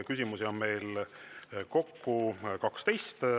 Küsimusi on meil kokku 12.